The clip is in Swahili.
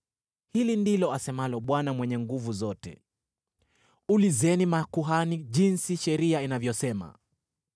“Hili ndilo asemalo Bwana Mwenye Nguvu Zote: ‘Ulizeni makuhani jinsi sheria inavyosema: